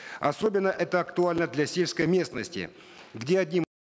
особенно это актуально для сельской местности где один